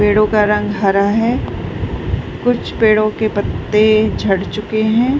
पेड़ों का रंग हरा है कुछ पेड़ों के पत्ते झड़ चुके हैं।